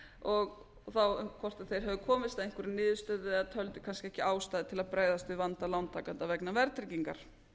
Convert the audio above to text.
og þá um hvort þau hefðu komist að einhverri niðurstöðu eða töldu kannski ekki ástæðu til að bregðast við vanda lántakenda vegna verðtryggingar